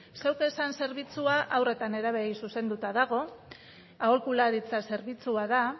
zeuk esan zerbitzua haur eta nerabeei zuzenduta dago aholkularitza zerbitzua da